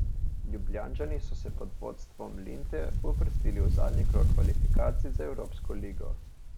Ljubljančani so se pod vodstvom Linte uvrstili v zadnji krog kvalifikacij za evropsko ligo.